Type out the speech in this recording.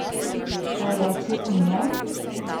Kaj reči o njem?